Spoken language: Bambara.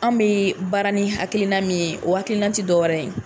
An bɛ baara ni halina min ye o hakilina tɛ dɔwɛrɛ ye